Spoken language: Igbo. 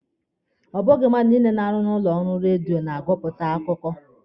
Ọ bụghị mmadụ niile na-arụ n'ụlọ ọrụ redio na-agụpụta akụkọ